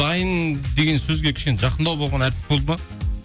дайын деген сөзге кішкене жақындау болған әртіс болды ма